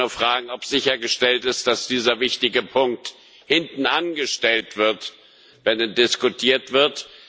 Ich wollte nur fragen, ob sichergestellt ist, dass dieser wichtige Punkt hinten angestellt wird, wenn er diskutiert wird.